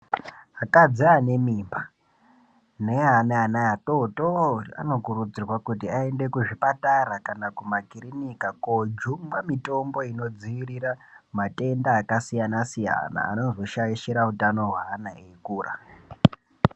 Akadzi ane mimba ne akadzi ane ana adodori ao kurudzirwa kuti ayende ku zvipatara kana kuma kirinika ko jungwa mitombo ino dzivirira matenda aka siyana siyana anozo shaishira utano hwe ana eyi kura.